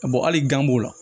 A bɔ hali gan b'o la